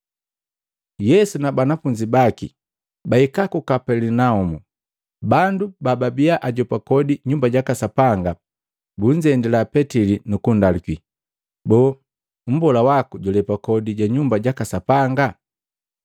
Yesu na banafunzi baki pabahika ku Kapelinaumu, bandu bababia ajopa kodi Nyumba jaka Sapanga bunzendila Petili nukundaluki, “Boo, mbola waku julepa kodi ja Nyumba jaka Sapanga?”